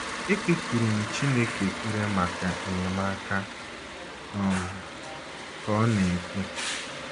“ Ekpekuru m Chineke ekpere maka enyemaka,, ” um ka ọ na - ekwu.